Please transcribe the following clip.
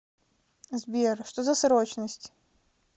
сбер что за срочность